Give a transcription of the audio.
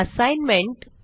assignment